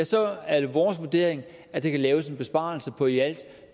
så er det vores vurdering at der kan laves en besparelse på i alt